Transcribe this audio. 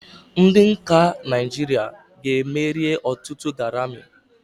Ndị nka Naijiria ga-emeri ọtụtụ Garami.